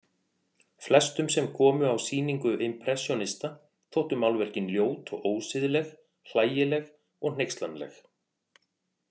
Flestum sem komu á sýningu impressjónista þóttu málverkin ljót og ósiðleg, hlægileg og hneykslanleg.